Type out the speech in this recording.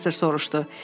Professor soruşdu.